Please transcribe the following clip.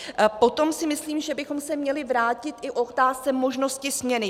Potom si myslím, že bychom se měli vrátit i k otázce možnosti směny.